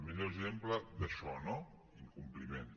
millor exemple d’això no incompliment